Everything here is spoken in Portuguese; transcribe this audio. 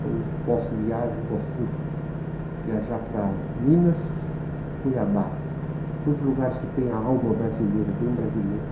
Quando posso viajo, gosto muito de viajar para Minas, Cuiabá, todos os lugares que têm a alma brasileira, bem brasileira.